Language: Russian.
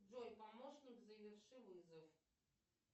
джой помощник заверши вызов